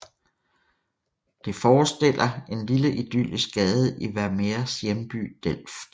Det forestiller en lille idyllisk gade i Vermeers hjemby Delft